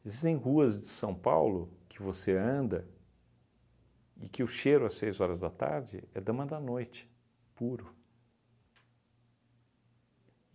Existem ruas de São Paulo que você anda e que o cheiro às seis horas da tarde é dama da noite, puro.